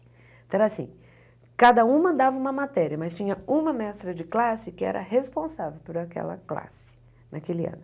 Então era assim, cada uma dava uma matéria, mas tinha uma mestra de classe que era responsável por aquela classe naquele ano.